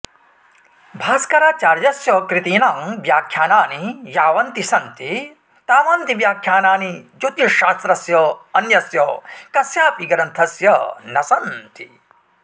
भास्कराचार्यस्य कृतीनां व्याख्यानानि यावन्ति सन्ति तावन्ति व्याख्यानानि ज्योतिश्शास्त्रस्य अन्यस्य कस्यापि ग्रन्थस्य न सन्ति